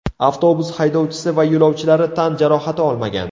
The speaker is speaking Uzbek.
Avtobus haydovchisi va yo‘lovchilari tan jarohati olmagan.